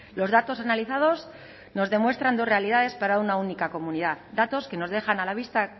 los datos analizados nos demuestran dos realidades para una única comunidad datos que nos dejan a la vista